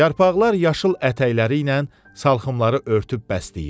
Yarpaqlar yaşıl ətəkləri ilə salxımları örtüb bəsləyir.